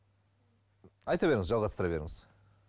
айта беріңіз жалғастыра беріңіз